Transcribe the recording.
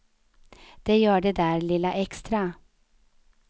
De gör det där lilla extra.